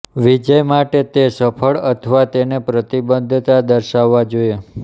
વિજય માટે તે સફળ અથવા તેને પ્રતિબદ્ધતા દર્શાવવા જોઈએ